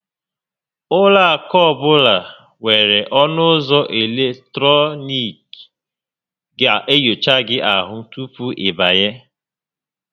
Ụlọ akụ ọbụla nwèrè ọnụ ụzọ eletọnịkị ga enyocha gị ahụ tupu ị banye